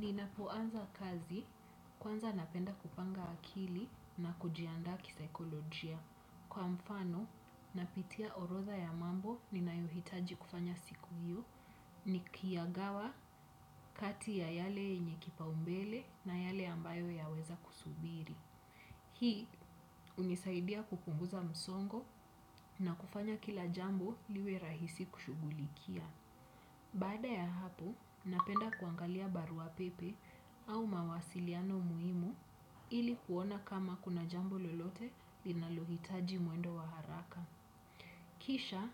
Ninapoanza kazi kwanza napenda kupanga akili na kujianda kisaikolojia. Kwa mfano, napitia orodha ya mambo ninayohitaji kufanya siku hiyo nikiyagawa kati ya yale yenye kipaumbele na yale ambayo yaweza kusubiri. Hii hunisaidia kupunguza msongo na kufanya kila jambo liwe rahisi kushughulikia. Bada ya hapo, napenda kuangalia barua pepe au mawasiliano muhimu ili kuona kama kuna jambo lolote linalohitaji mwendo wa haraka. Kisha,